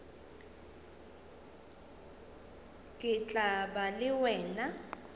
ke tla ba le wena